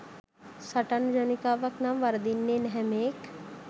සටන් ජවනිකාවක් නම් වරදින්නේ නැහැ මේක්.